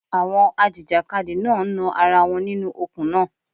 Àwọn a jìjàkadì náà ń nan ara wọn nínú okùn náà.